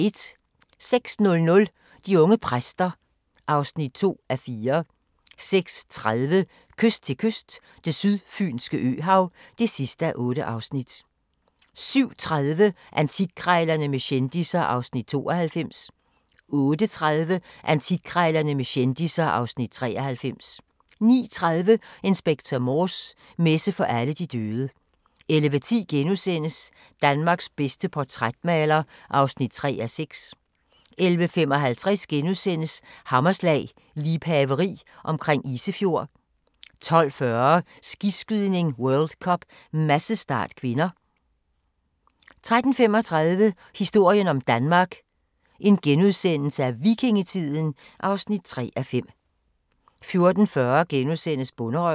06:00: De unge præster (2:4) 06:30: Kyst til kyst – Det sydfynske øhav (8:8) 07:30: Antikkrejlerne med kendisser (Afs. 92) 08:30: Antikkrejlerne med kendisser (Afs. 93) 09:30: Inspector Morse: Messe for alle de døde 11:10: Danmarks bedste portrætmaler (3:6)* 11:55: Hammerslag - liebhaveri omkring Isefjord * 12:40: Skiskydning: World Cup - massestart (k) 13:35: Historien om Danmark: Vikingetiden (3:5)* 14:40: Bonderøven (3:8)*